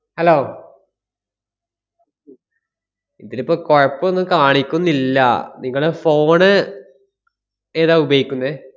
hello ഇതിലിപ്പോ കൊഴപ്പൊന്നും കാണിക്കുന്നില്ല. നിങ്ങള് phone ണ് ഏതാ ഉപയോഗിക്കുന്നേ?